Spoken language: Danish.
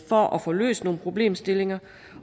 for at få løst nogle problemstillinger